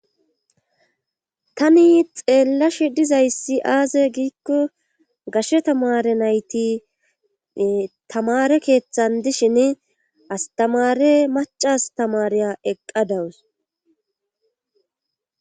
Tani xeellashi dizayssi aaze giikko gashe tamare nayti tamare keeththan dishin astamare mac astamariya eqqa dawus.